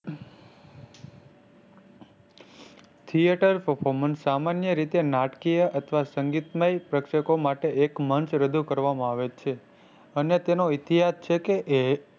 Theater performance સામાન્ય રીતે નાટકીય અથવા સંગીતમય પ્રેક્ષકો માટે એક મંચ રજૂ કરવામાં આવે છે અને તેનો ઇતિહાસ છે કે એ